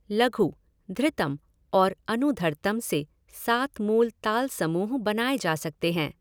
लघु, धृतम् और अनुधर्तम् से सात मूल ताल समूह बनाए जा सकते हैं